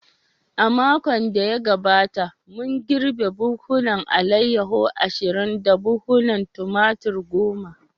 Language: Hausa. A makon da ya gabata, mun girbe buhunan alayyahu ishirin da buhunan Tumatir goma.